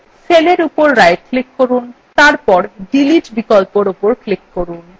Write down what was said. cellএর উপর right click করুন এবং তারপর delete বিকল্পর উপর click করুন